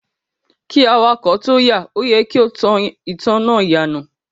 Kí awakọ̀ tóo yà, o yẹ kí o tan ìtanná ìyànà.